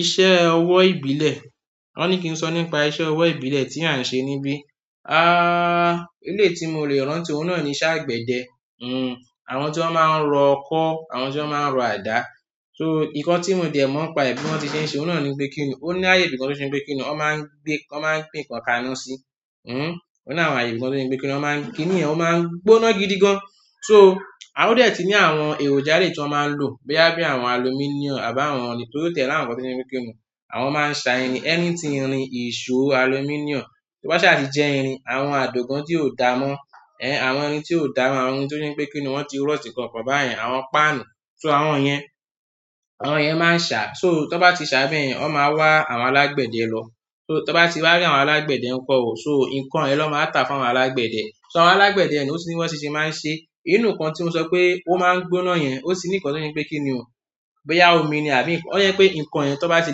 Iṣẹ́ ọwọ́ ìbílẹ̀, wọ́n ní kí n sọ nípa iṣẹ́ ọwọ́ ìbílẹ̀ tí à ń ṣe níbí. Ah, eléyi tí mo lè rántí òun náà ni iṣẹ́ àgbẹ̀dẹ. Àwọn tí wọ́n máa ń rọ ọkọ́, àwọn tí wọ́n máa ń rọ àdá. Nkan tí mo dẹ̀ mọ̀ n pa è bí wọ́n ti ṣe ń ṣe, òun náà ni pé kíni. Ó ní ààyè ibìkan tó se pé kíni, wọ́n máa ń gbé, wọ́n máa ń gbé nǹkan kaná sí. Ó ní àwọn ààyè ibìkan tó se pé kiní, wọ́n máa ń kiní yen ó máa ń gbóná gidi gan. Ó dẹ̀ ti ní àwọn èròjà eléyí tí wọ́n máa ń lò bóyá bí àwọn alumíníọ̀nù àbí àwọn ohun torí ó ti è ní àwọn nǹkan tó jé pé kíni. Àwọn máa ń sa irin, anything, irin, ìṣó, alumíníọ̀nù, tó bá sá ti jé irin, àwọn àdògán tí ò da mọ́, àwọn irin tí ò da mọ́, àwọn irin tó jé pé kíni, wọ́n ti rústì ǹkan kàn bá yen. Àwọn páànù. So àwọn yen, àwọn yen máa ń sàá. So tí wọ́n bá ti sàá bá yen, wọ́n má wá àwọn alágbẹ̀dẹ lọ. Tí wọ́n bá ti wá rí àwọn alágbẹ̀dẹ ń kó ọ, so nǹkan yẹn ló ma wá tà fún àwọn alágbẹ̀dẹ. So àwọn alágbẹ̀dẹ yen ó tún ní bí wọ́n se máa ń ṣe. Ínú nǹkan tí mo sọ pé ó máa ń gbóná yen, ó ti ní nǹkan tó jé pé kíni o. Bó yá omi ni àbí nǹkan, ó jé pé nǹkan yen tí wọ́n bá ti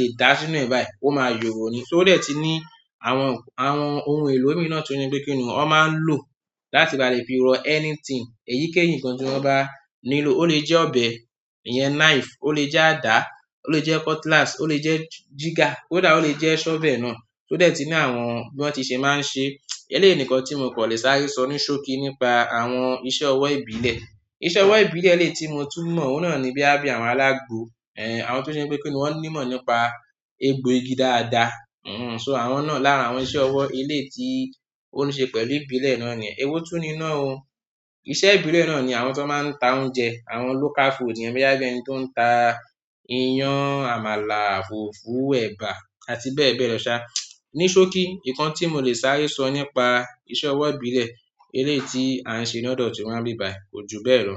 lè dàá sínú è báyìí, ó máa yòrò ni ó dẹ̀ ti ní àwọn ohun èlò míì náà tí ó jé pé kíni o, wọ́n máa ń lò láti ba lè fi rọ anything, èyíkéyìí nǹkan tí wọ́n bá nílò. Ó le jẹ́ ọbẹ̀, ìyen knife, ó le jẹ́ àdá, ó le jẹ́ cutlass, ó le jẹ́ jígà, kó dà ó le jẹ́ shovel náà. So ó dẹ̀ ti ní àwọn bí wọ́n ti ṣe máa ń ṣe. Eléyìí ni nkan tí mo kò lè sáré so ní sóókí nípa àwọn iṣẹ́ owó ìbílẹ̀. Iṣẹ́ ọwọ́ ìbílẹ̀ eléyìí tí mo tún mọ̀, òun náà ni bóyá bí àwọn alágbo, àwọn tó se n pé kíni, wọ́n ní ìmọ̀ nípa egbò igi dáada. So àwọn náà lára àwọn iṣẹ́ ọwọ́ eléyìí tí ó ní ṣe pẹ̀lú ìbílẹ̀ náà nì yen. Èwo tún ni náá o. Iṣẹ́ ìbílẹ̀ náà ni àwọn tó máa ń ta oúnjẹ, àwọn local food yen bó yá bí ẹni tó ń ta iyán, àmàlà, fùfú, ẹ̀bà àti bẹ́ẹ̀ bẹ́ẹ̀ lọ ṣá ní sókí, nkan tí mo lè sáré so nípa iṣẹ́ owó ìbílẹ̀ eléyìí tí à n se ní òdò ti wa níbíbàyí, kò jù bẹ́ẹ̀ lo.